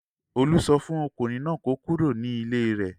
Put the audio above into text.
Olú sọ fún ọkùnrin náà kó kúrò nílé rẹ̀.